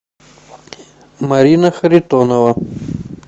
марина харитонова